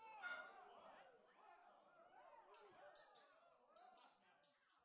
Beinagrindin er gerð úr beinum og brjóski.